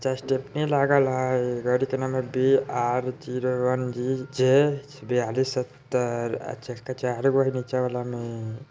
जे stepney लागल हई। गाड़ी के नम्बर बी_आर_ज़ीरो_वन_जी_जे ब्यालिस् सत्तर। आ चक्का चार गो हई नीचे वाला में।